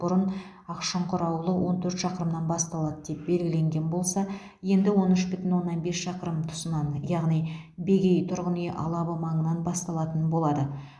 бұрын ақшұңқыр ауылы он төрт шақырымнан басталады деп белгіленген болса енді он үш бүтін оннан бес шақырым тұсынан яғни бегей тұрғын үй алабы маңынан басталатын болады